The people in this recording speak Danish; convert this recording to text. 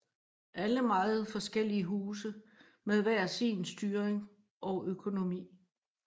Alle meget forskellige huse med hver sin styring og økonomi